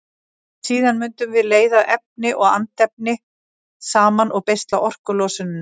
Síðan mundum við leiða efni og andefni saman og beisla orkulosunina.